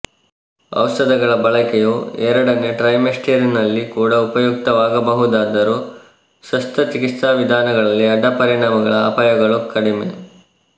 ಔಷಧಗಳ ಬಳಕೆಯು ಎರಡನೇ ಟ್ರೈಮೆಸ್ಟರಿನಲ್ಲಿ ಕೂಡ ಉಪಯುಕ್ತವಾಗಬಹುದಾದರೂ ಶಸ್ತ್ರಚಿಕಿತ್ಸಾ ವಿಧಾನಗಳಲ್ಲಿ ಅಡ್ಡಪರಿಣಾಮಗಳ ಅಪಾಯಗಳು ಕಡಿಮೆ